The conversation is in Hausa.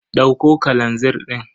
Dauko kalazir din.